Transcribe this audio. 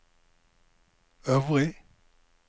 øvrig